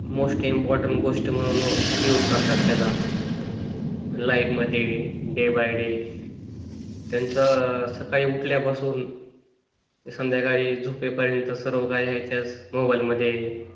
most important गोष्ट म्हणून use करतात त्याला, लाइफ मध्ये डे बे डे त्यांचा सकाळी उठल्यापासून संध्याकाळी झोपेपर्यंत सर्व काही मोबाईल मध्ये,